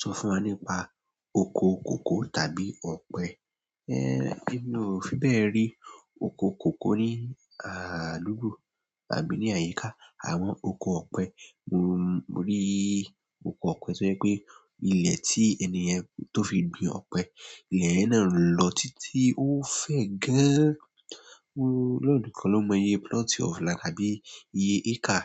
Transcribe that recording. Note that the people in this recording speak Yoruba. Sọ fún wa nípa oko kòkó tàbí ọ̀pẹ. Ééẹ mí ò fi bẹ́ẹ̀ rí oko kòkó ní àdúgbò àbí ni àyíká àwọn oko ọpẹ. Mo rí oko ọ̀pẹ tó jẹ́ pé ilẹ̀ tí ènìyẹn tó fi gbin ọ̀pẹ, ilẹ̀ yẹn náà ń lọ títí ó fẹ́ gán. Ọlọ́run nìkan ló mọ iye plot of land àbí iye acre.